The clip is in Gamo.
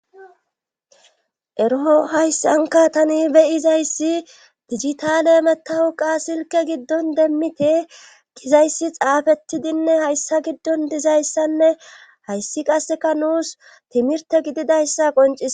Ero hayssanka tani beyizayssi digitale metahu qa silke giddon demmite gizayssi xaafettidinne hayssa giddon dizayssanne hayssi qasseka nuus timirte gididayssa qonciss.